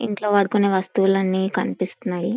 ఇంట్లో వాడుతున్న వస్తులు అన్ని కనిపిస్తున్నాయి.